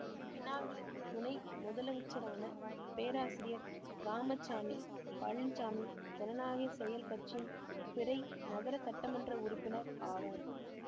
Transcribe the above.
Penang துணை முதலமைச்சரான பேராசிரியர் இராமசாமி பழனிச்சாமி ஜனநாயக செயல் கட்சியின் பிறை நகர சட்டமன்ற உறுப்பினர் ஆவார்